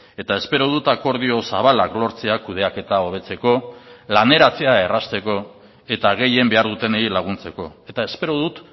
eta espero dut akordio zabalak lortzea kudeaketa hobetzeko laneratzea errazteko eta gehien behar dutenei laguntzeko eta espero dut